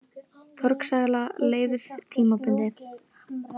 Torgsala leyfð tímabundið